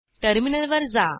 टर्मिनलवर जा